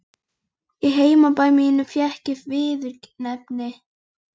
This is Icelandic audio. Í heimabæ mínum fékk ég viðurnefnið